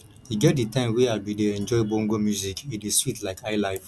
e get di time wey i bin dey enjoy bongo music e dey sweet like highlife